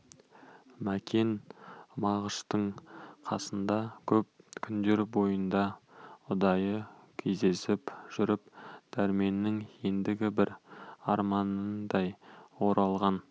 мәкен мағыштың қасында көп күндер бойында ұдайы кездесіп жүріп дәрменнің ендігі бір арманындай оралған